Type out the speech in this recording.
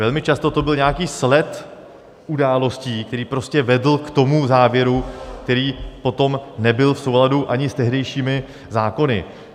Velmi často to byl nějaký sled událostí, který prostě vedl k tomu závěru, který potom nebyl v souladu ani s tehdejšími zákony.